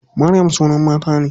Maryam sunan mata ne.